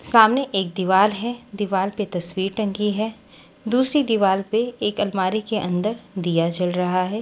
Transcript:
सामने एक दीवार है दीवार पे तस्वीर टंगी है दूसरी दीवार पे एक अलमारी के अंदर दिया जल रहा है।